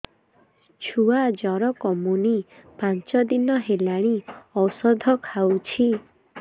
ଛୁଆ ଜର କମୁନି ପାଞ୍ଚ ଦିନ ହେଲାଣି ଔଷଧ ଖାଉଛି